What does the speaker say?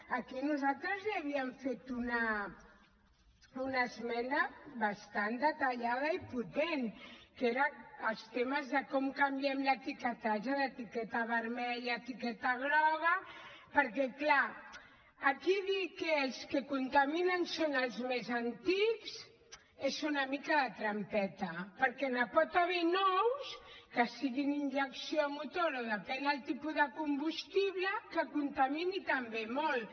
aquí nosaltres ja havíem fet una esmena bastant detallada i potent que eren els temes de com canviem l’etiquetatge d’etiqueta vermella a etiqueta groga perquè clar aquí dir que els que contaminen són els més antics és una mica de trampeta perquè n’hi pot haver de nous que siguin injecció a motor o depèn el tipus de combustible que contaminin també molt